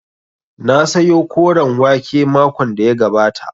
Na sayo koren wake makon da ya gabata